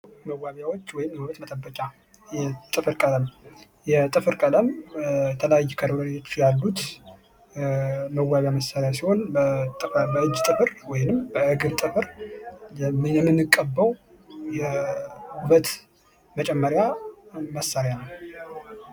መዋቢያዎች ወይም የውበት መጠበቂያ ጥፍር ቀለም፡- የጥፍር ቀለም የተለያዩ ከለሮች ያሉት መዋቢያ መሳርያ ሲሆን ፤ ለእጅ ጥፍር ወይም ለእግር ጥፍር የምንቀበው የውበት መጨመርያ መሳሪያ ነው።